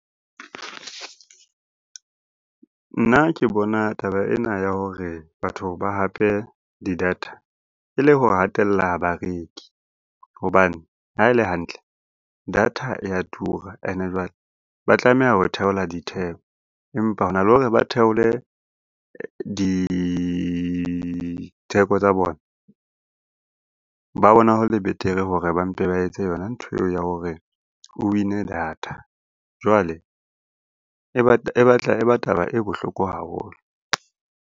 Nna ke bona taba ena ya hore batho ba hape di-data e le ho hatella bareki. Hobane ha e le hantle data e ya tura, ene jwale ba tlameha ho theola ditheko. Empa hona le hore ba theole ditheko tsa bona, ba bona hole betere hore ba mpe ba etse yona ntho eo ya hore o win-e data. Jwale e batla e ba taba e bohloko haholo.